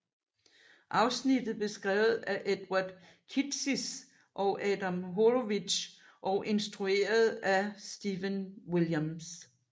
Afsnittet blev skrevet af Edward Kitsis og Adam Horowitz og instrueret af Stephen Williams